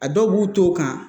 A dɔw b'u to kan